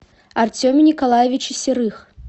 артеме николаевиче серых